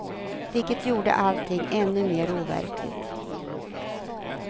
Vilket gjorde allting ännu mer overkligt.